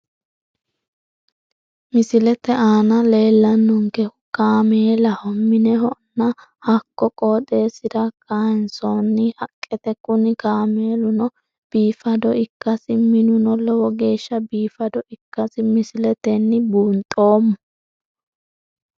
Misilete aana leellannonkehu kaamelaho mineho nna hakko qooxeessira kaaynsoonni haqqeeti kuni kaameeluno biifado ikkasi minuno lowo geeshsha biifado ikkasi misiletenni buunxoommo.